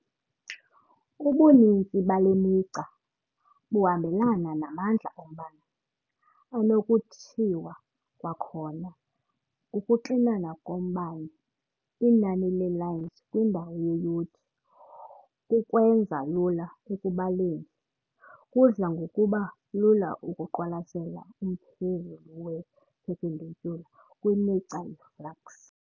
Ubuninzi bale migca buhambelana namandla ombane, anokuthiwa kwakhona ukuxinana kombane- inani le "lines" kwindawo yeyunithi. Ukwenza lula ekubaleni, kudla ngokuba lula ukuqwalasela umphezulu we-perpendicular kwimigca yeflux.